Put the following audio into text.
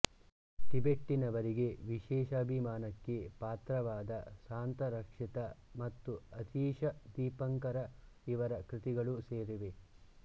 ಟಿಬೆಟ್ಟಿನವರಿಗೆ ವಿಶೇಷಾಭಿಮಾನಕ್ಕೆ ಪಾತ್ರವಾದ ಶಾಂತರಕ್ಷಿತ ಮತ್ತು ಅತೀಶ ದೀಪಂಕರ ಇವರ ಕೃತಿಗಳೂ ಸೇರಿವೆ